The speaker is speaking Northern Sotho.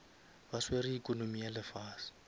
ba swere economy ya lefase